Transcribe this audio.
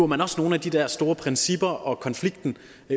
man også nogle af de der store principper og konflikten